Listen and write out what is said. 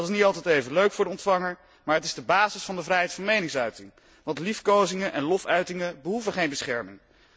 Dat is niet altijd even leuk voor de ontvanger, maar het is de basis van de vrijheid van meningsuiting, want liefkozingen en lofuitingen behoeven geen bescherming.